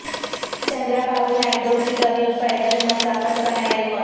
چندرا بابو نائیڈو کی طویل پیدل مسافت کا نیا ریکارڈ